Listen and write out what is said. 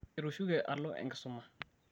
etushuke alo enkisuma